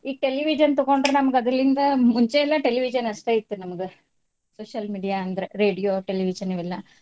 ಈಗ television ತಗೊಂಡ್ರ್ ನಮ್ಗ ಅದರಲ್ಲಿಂದ ಮುಂಚೆ ಎಲ್ಲಾ television ಅಷ್ಟ್ ಇತ್ತ ನಮ್ಗ social media ಅಂದ್ರ್ radio television ಇವೆಲ್ಲಾ.